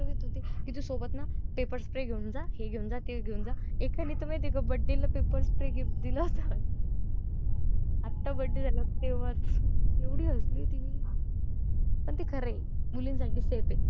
तू सोबत ना paper spray घेऊन जा हे घेऊन जा ते घेऊन जा हे घेऊन जा ते घेऊन जा birthday ला paper spray gift दिला होता आता birthday झाला तेव्हाच एवढी हसली होती मी पण ते खरये मुलं .